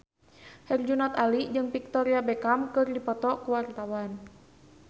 Herjunot Ali jeung Victoria Beckham keur dipoto ku wartawan